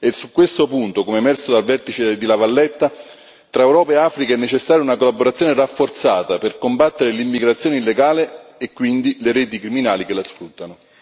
E su questo punto, com'è emerso dal vertice di La Valletta, tra Europa e Africa è necessaria una collaborazione rafforzata per combattere l'immigrazione illegale e quindi le reti criminali che le sfruttano.